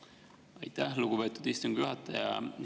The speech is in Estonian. Aitäh, lugupeetud istungi juhataja!